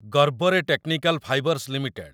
ଗର୍ବରେ technical fibres limited